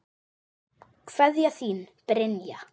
Kveðja, þín Brynja.